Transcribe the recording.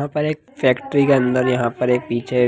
यहाँ पर एक फेक्टरी के अंदर यहाँ पर एक पीछे